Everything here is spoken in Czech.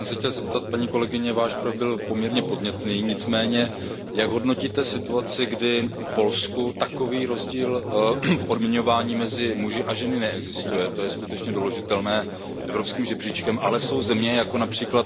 Já jsem se chtěl zeptat, paní kolegyně, Váš projev byl poměrně podnětný, nicméně jak hodnotíte situaci, kdy v Polsku takový rozdíl v odměňování mezi muži a ženami neexistuje, to je skutečně doložitelné evropským žebříčkem, ale jsou země, jako např.